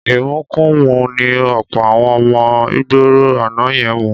Ìmukumúmu ni ọ̀pọ̀ àwọn ọmọ ìgboro àná yẹn mu.